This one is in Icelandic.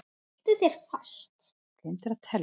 Haltu þér fast.